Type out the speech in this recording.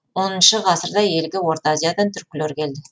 оныншы ғасырда елге орта азиядан түркілер келді